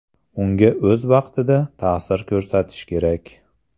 Unga o‘z vaqtida ta’sir ko‘rsatish kerak.